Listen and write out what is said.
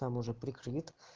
там уже прикрыт